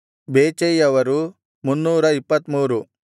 ಬೇಚೈಯವರು 323